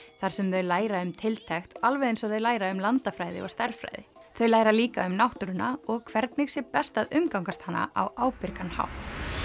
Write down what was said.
þar sem þau læra um tiltekt alveg eins og þau læra um landafræði og stærðfræði þau læra líka um náttúruna og hvernig sé best að umgangast hana á ábyrgan hátt